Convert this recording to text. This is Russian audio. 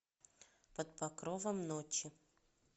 под покровом ночи